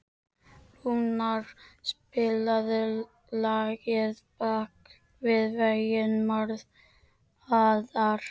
Rúnar, spilaðu lagið „Bak við veggi martraðar“.